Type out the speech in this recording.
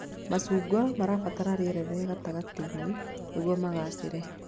Macungwa mabataraga rĩera rĩa gatagatĩ-inĩ nĩguo magaacĩre